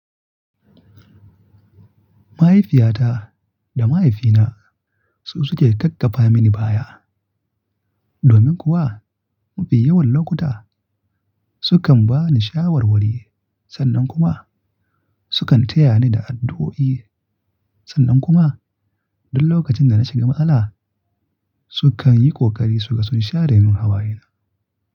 Mahaifiyata da mahaifina su suke takkafa mini baya. Domin kuwa, mafi yawan lokuta sukan ba ni shawarwari sannan kuma sukan taya ni da addu'o'i. Sannan kuma duk lokacin da na shiga matsala, sukan yi ƙoƙari su gasa share mun hawayena.